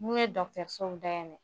N'u ye dɔgɔtɔrɔsow dayɛlɛ